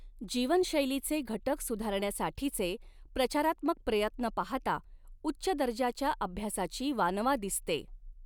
जीवनशैलीचे घटक सुधारण्यासाठीचे प्रचारात्मक प्रयत्न पाहता, उच्च दर्जाच्या अभ्यासाची वानवा दिसते.